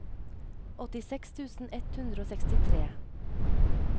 åttiseks tusen ett hundre og sekstitre